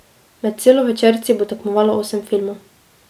Med celovečerci bo tekmovalo osem filmov.